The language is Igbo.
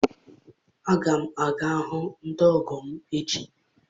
Aga m aga hụ ndị ọgọ m echi